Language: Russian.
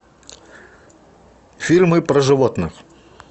фильмы про животных